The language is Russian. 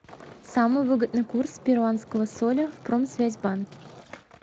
самый выгодный курс перуанского соля в промсвязьбанке